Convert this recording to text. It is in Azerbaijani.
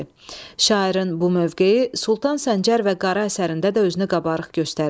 Şairin bu mövqeyi Sultan Səncər və Qarı əsərində də özünü qabarıq göstərir.